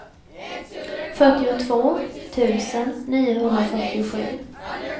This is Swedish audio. fyrtiotvå tusen niohundrafyrtiosju